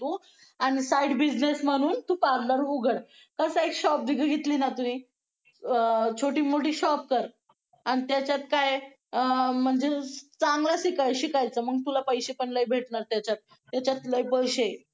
आणि side business म्हणून दुकानदार उघड कस आहे एक shop घेतली अं छोटी मोठ shop कर अन त्याचात काय आहे अं म्हणजे चांगला शिकायच्या मंग पैसे पण लयभेटनर त्याचात त्याचात लय पैसे हे